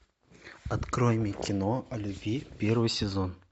открой мне кино о любви первый сезон